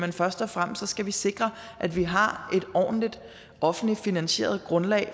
at først og fremmest skal vi sikre at vi har et ordentligt offentligt finansieret grundlag